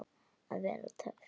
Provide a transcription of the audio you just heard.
Að vera töff.